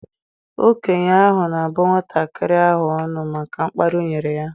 Okenye ahụ na-abụ nwatakịrị ahụ ọnụ maka mkparị o nyere ya.